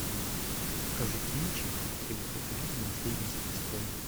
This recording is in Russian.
покажи кинчик три богатыря и наследница престола